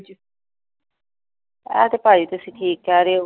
ਇਹ ਤੇ ਭਾਜੀ ਤੁਸੀ ਠੀਕ ਕਹਿ ਰਹੇ ਹੋ।